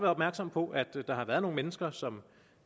opmærksomme på at der har været nogle mennesker som